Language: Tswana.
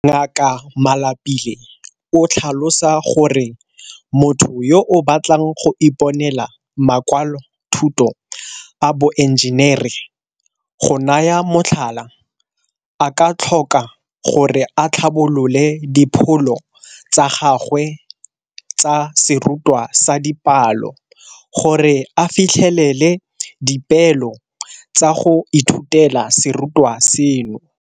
Ngaka Malapile o tlhalosa gore motho yo a batlang go iponela makwalothuto a boenjenere, go naya motlhala, a ka tlhoka gore a tlhabolole dipholo tsa gagwe tsa serutwa sa dipalo gore a fitlhelele dipeelo tsa go ithutela serutwa seno.